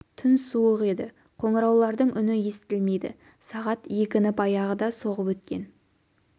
түн суық еді қоңыраулардың үні естілмейді сағат екіні баяғыда соғып өткен